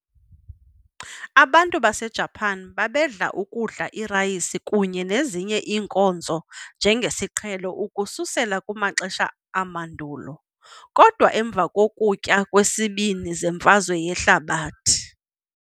Abantu baseJapan babedla ukudla irayisi kunye nezinye iinkozo njengesiqhelo ukususela kumaxesha amandulo, kodwa emva kokutya kweSibini zeMfazwe yehlabathi.